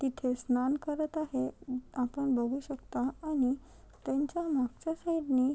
तिथे स्नान करत आहे आपण बघू शकता आणि त्यांच्या मागच्या साइड नि--